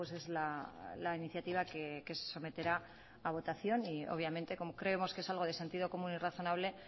es la iniciativa que se someterá a votación y obviamente como creemos que es algo de sentido común y razonable